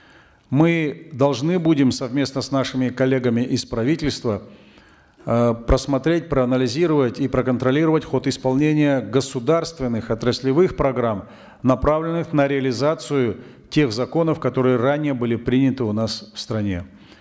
мы должны будем совместно с нашими коллегами из правительства э просмотреть проанализировать и проконтролировать ход исполнения государственных отраслевых программ направленных на реализацию тех законов которые ранее были приняты у нас в стране